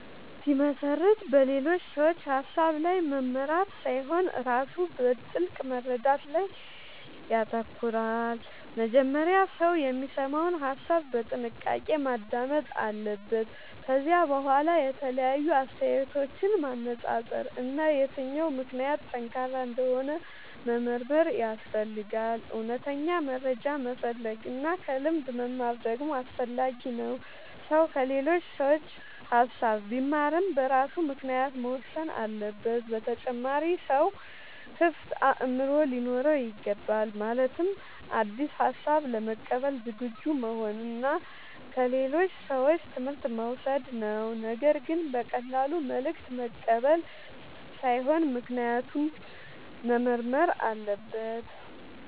ሲመሰርት በሌሎች ሰዎች ሐሳብ ብቻ መመራት ሳይሆን ራሱ በጥልቅ መረዳት ላይ ይተኮራል። መጀመሪያ ሰው የሚሰማውን ሐሳብ በጥንቃቄ ማዳመጥ አለበት። ከዚያ በኋላ የተለያዩ አስተያየቶችን ማነጻጸር እና የትኛው ምክንያት ጠንካራ እንደሆነ መመርመር ያስፈልጋል። እውነተኛ መረጃ መፈለግ እና ከልምድ መማር ደግሞ አስፈላጊ ነው። ሰው ከሌሎች ሰዎች ሐሳብ ቢማርም በራሱ ምክንያት መወሰን አለበት። በተጨማሪም ሰው ክፍት አእምሮ ሊኖረው ይገባል። ማለትም አዲስ ሐሳብ ለመቀበል ዝግጁ መሆን እና ከሌሎች ሰዎች ትምህርት መውሰድ ነው። ነገር ግን በቀላሉ መልእክት መቀበል ሳይሆን ምክንያቱን መመርመር አለበት።